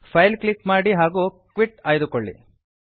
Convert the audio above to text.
file click ಮಾಡಿ ಹಾಗೂ quit ಆಯ್ದುಕೊಳ್ಳಿ